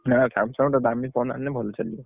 ନା Samsung ଟା ଦାମି phone ଆଣିଲେ ଭଲ ଚାଲିବ।